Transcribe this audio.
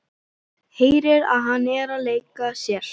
Heyrir að hann er að leika sér.